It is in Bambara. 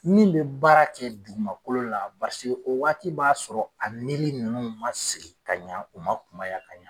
Min bɛ baara kɛ dugumakolo la o waati b'a sɔrɔ a nili ninnu man sigi ka ɲɛ u man kunmaya ka ɲɛ.